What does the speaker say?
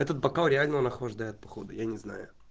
этот бокал реально он охлаждает походу я не знаю